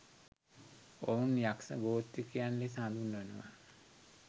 ඔවුන් යක්ෂ ගෝත්‍රිකයන් ලෙස හඳුන්වනවා.